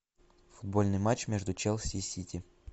футбольный матч между челси и сити